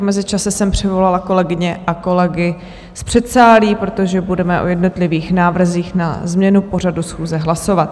V mezičase jsem přivolala kolegyně a kolegy z předsálí, protože budeme o jednotlivých návrzích na změnu pořadu schůze hlasovat.